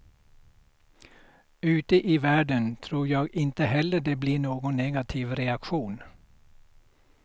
Ute i världen tror jag inte heller det blir någon negativ reaktion.